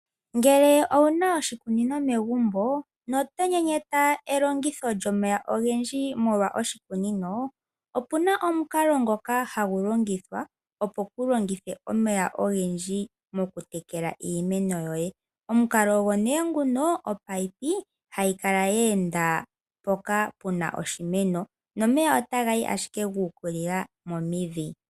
Ngele owu na oshikunino megumbo noto nyenyeta elongitho lyomeya ogendji molwa oshikunino, opu na omukalo ngoka hagu longithwa, opo kuu longithe omeya ogendji motekela iimeno yoye. Omukalo ogo omunino hagu kala gwe enda mpoka pu na oshimeno, nomeya otaga yi ashike gu ukilila momidhi.